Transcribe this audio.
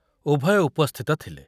ଉଭୟ ଉପସ୍ଥିତ ଥିଲେ।